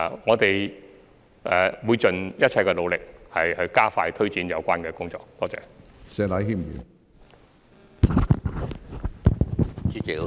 我們會盡一切努力，加快推展有關工作。